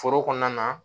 Foro kɔnɔna na